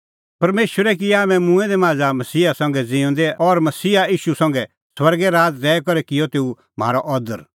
परमेशरै किऐ हाम्हैं मूंऐं दै मांझ़ा का मसीहा संघै ज़िऊंदै और मसीहा ईशू संघै स्वर्गै राज़ दैई करै किअ तेऊ म्हारअ अदर